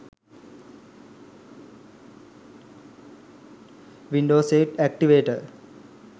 window 8 activator